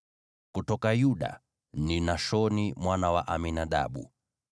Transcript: kutoka Yuda, ni Nashoni mwana wa Aminadabu;